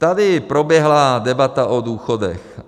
Tady proběhla debata o důchodech.